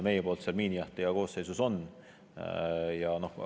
Meie poolt on seal koosseisus miinijahtija.